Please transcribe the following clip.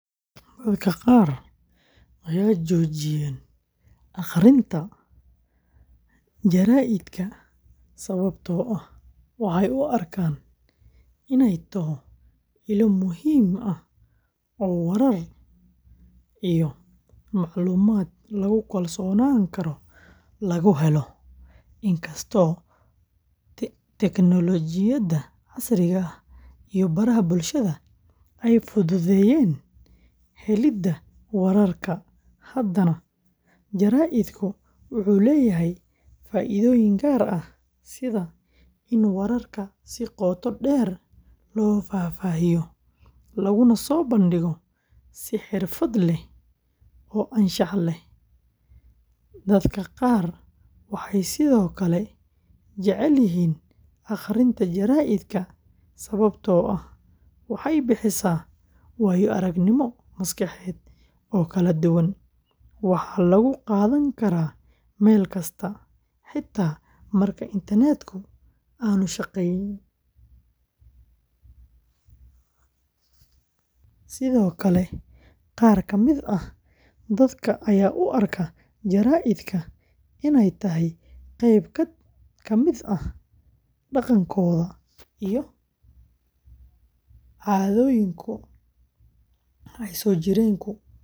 Dadka qaar ma joojiyeen akhrinta jaraa'idka sababtoo ah waxay u arkaan inay tahay ilo muhiim ah oo warar iyo macluumaad lagu kalsoonaan karo lagu helo. Inkasta oo tiknoolajiyada casriga ah iyo baraha bulshada ay fududeeyeen helidda wararka, haddana jaraa'idku wuxuu leeyahay faa’iidooyin gaar ah sida in wararka si qoto dheer loo faahfaahiyo, laguna soo bandhigo si xirfad leh oo anshax leh. Dadka qaar waxay sidoo kale jecel yihiin akhrinta jaraa’idka sababtoo ah waxay bixisaa waayo-aragnimo maskaxeed oo kala duwan; waxaa lagu qaadan karaa meel kasta, xitaa marka internetku aanu shaqeynayn. Sidoo kale, qaar ka mid ah dadka ayaa u arka jaraa’idka inay tahay qayb ka mid ah dhaqankooda iyo caadooyinka ay soo jireenka u hayaan.